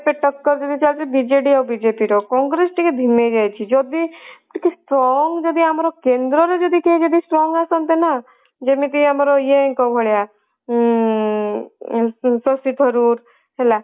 ଟକ୍କର ଯଦି ଚାଲିଛି ବିଜେଡି ଆଉ ବିଜେପି ର କଂଗ୍ରେସ ଟିକେ ଧିମେଇ ହେଇଯାଇଛି ଯଦି ଟିକେ strong ଯଦି ଆମର କେନ୍ଦ୍ର ରେ ଯଦି ଟିକେ strong ଯଦି ଆମର କେନ୍ଦ୍ରରେ କେହି ଯଦି strong ଆସନ୍ତେ ନା ଯେମିତି ଆମର ଇଏଙ୍କ ଭଳିଆ ଉଁ ହେଲା